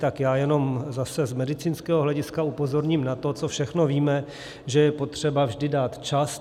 Tak já jenom zase z medicínského hlediska upozorním na to, co všechno víme, že je potřeba vždy dát čas.